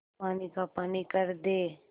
पानी का पानी कर दे